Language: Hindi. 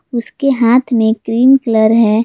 उसके हाथ में क्रीम कलर है।